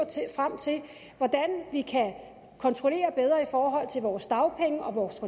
frem til hvordan vi kan kontrollere bedre i forhold til vores dagpenge og vores